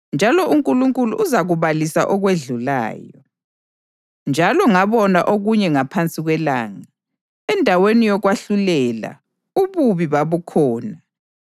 Njalo ngabona okunye ngaphansi kwelanga: endaweni yokwahlulela, ububi babukhona, endaweni yokulungisa, ububi babukhona.